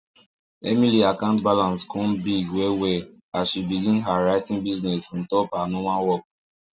emily account balance come big well well after she begin her writing business on top her normal work